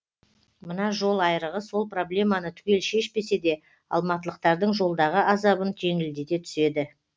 мына жол айрығы сол проблеманы түгел шешпесе де алматылықтардың жолдағы азабын жеңілдете түседі